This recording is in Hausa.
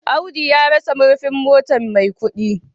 Audu ya rasa murfin motar Maikudi